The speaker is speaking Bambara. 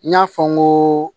N y'a fɔ n ko